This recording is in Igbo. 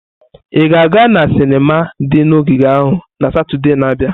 Ị ga-aga na sinima di na ogige ahụ na Satọde na-abịa?